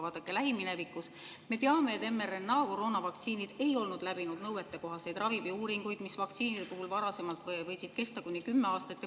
Vaadake, lähiminevikust me teame, et mRNA koroonavaktsiinid ei olnud läbinud nõuetekohaseid ravimiuuringuid, mis vaktsiinide puhul varasemalt võisid kesta kuni 10 aastat.